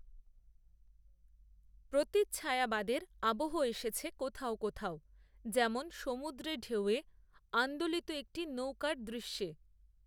প্রতিচ্ছায়াবাদের আবহ এসেছে কোথাও কোথাও, যেমন সমুদ্রেঢেউয়ে, আন্দোলিত একটি নৌকার দৃশ্যে